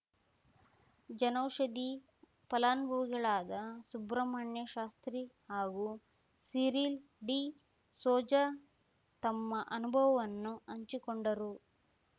ಜನೌಷಧಿ ಫಲಾನುಭವಿಗಳಾದ ಸುಬ್ರಹ್ಮಣ್ಯ ಶಾಸ್ತ್ರೀ ಹಾಗೂ ಸಿರಿಲ್ ಡಿಸೋಜ ತಮ್ಮ ಅನುಭವವನ್ನು ಹಂಚಿಕೊಂಡರು